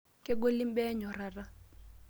Kegoli imbaa enyorrata.